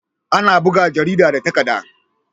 Ana buga jarida da takadda